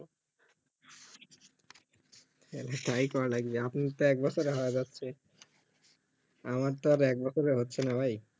তালে তাইই করা যাই আপনি তো এক বছরে হয়ে যাচ্ছে আমার তো আর এক বছরে হচ্ছে না ভাই